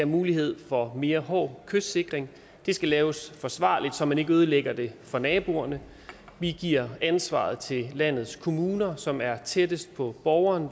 mulighed for mere hård kystsikring det skal laves forsvarligt så man ikke ødelægger det for naboerne vi giver ansvaret til landets kommuner som er tættest på borgerne